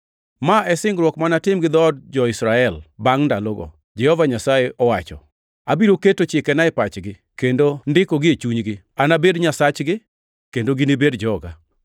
Ma e singruok ma anatim gi dhood jo-Israel bangʼ ndalogo, Jehova Nyasaye owacho. Abiro keto chikena e pachgi kendo ndikogi e chunygi. Anabed Nyasachgi, kendo ginibed joga.